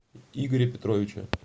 игоря петровича